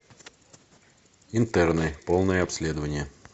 интерны полное обследование